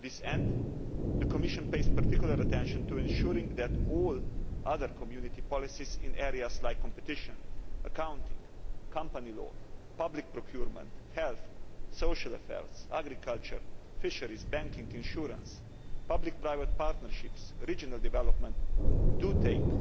To this end, the Commission pays particular attention to ensuring that all other Community policies in areas such as competition, accounting, company law, public procurement, health, social affairs, agriculture, fisheries, banking, insurance, public and private partnerships and regional development, do take